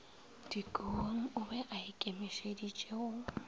dikobong o be aikemišeditše go